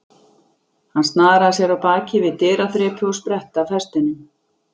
Hann snaraði sér af baki við dyraþrepið og spretti af hestinum.